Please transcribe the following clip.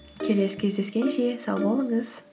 келесі кездескенше сау болыңыз